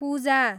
पूजा